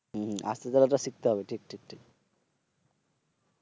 হম হম আস্তে চলাটা শিক্ষতে হবে ঠিক ঠিক ঠিক।